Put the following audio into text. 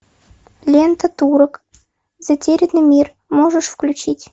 лента турок затерянный мир можешь включить